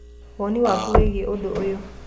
Woni waku wigie ũndũ ũyũ?